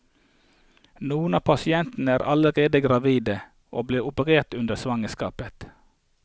Noen av pasientene er allerede gravide, og blir operert under svangerskapet.